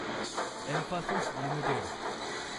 Mphasis limited